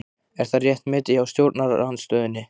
Er það rétt metið hjá stjórnarandstöðunni?